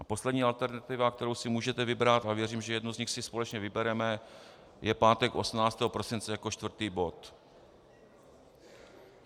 A poslední alternativa, kterou si můžete vybrat, a věřím, že jednu z nich si společně vybereme, je pátek 18. prosince jako čtvrtý bod.